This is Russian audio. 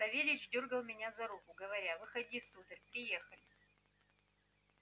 савельич дёргал меня за руку говоря выходи сударь приехали